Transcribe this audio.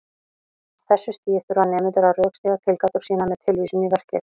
Á þessu stigi þurfa nemendur að rökstyðja tilgátur sínar með tilvísun í verkið.